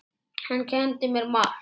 Hann kenndi mér margt.